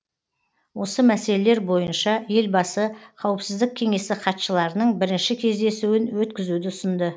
осы мәселелер бойынша елбасы қауіпсіздік кеңесі хатшыларының бірінші кездесуін өткізуді ұсынды